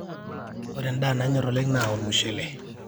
ore endaa nanyorr oleng naa olmushele